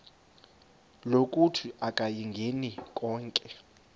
lokuthi akayingeni konke